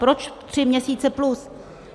Proč tři měsíce plus?